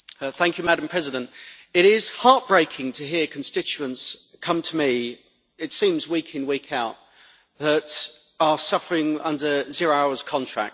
Madam President, it is heartbreaking to hear constituents come to me it seems week in, week out who are suffering under zero-hours contracts.